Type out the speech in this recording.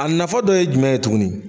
A nafa dɔ ye jumɛn ye tuguni